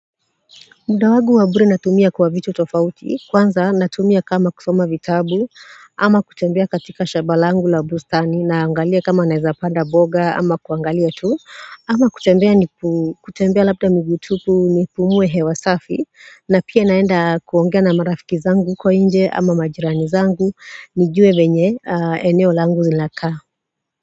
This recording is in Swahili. Mda wangu wabure natumia kwa vitu tofauti, kwanza natumia kama kusoma vitabu, ama kutembea katika shaba langu la bustani, naangalia kama naweza panda boga, ama kuangalia tu, ama kutembea labda miguu tupu nipumue hewa safi, na pia naenda kuongea na marafiki zangu kwa inje, ama majirani zangu, nijue venye, eneo langu linakaa.